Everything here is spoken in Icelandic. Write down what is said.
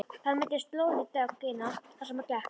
Það myndaðist slóð í dögg- ina þar sem hann gekk.